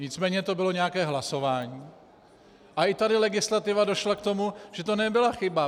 Nicméně to bylo nějaké hlasování a i tady legislativa došla k tomu, že to nebyla chyba.